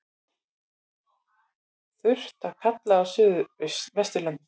Þurrt að kalla á suðvesturlandi